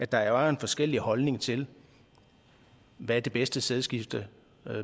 der er forskellige holdninger til hvad det bedste sædskifte